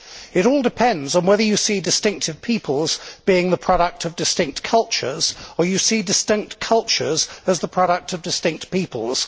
It all depends on whether you see distinct peoples as the product of distinct cultures or you see distinct cultures as the product of distinct peoples.